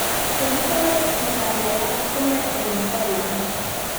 Kakitoret kijanaiyat kome rng Holland